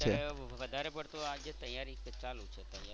અત્યારે વધારે પડતું આ તૈયારી છે એ ચાલુ છે.